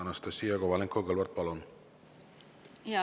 Anastassia Kovalenko-Kõlvart, palun!